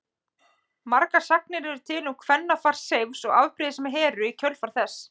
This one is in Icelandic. Margar sagnir eru til um kvennafar Seifs og afbrýðisemi Heru í kjölfar þess.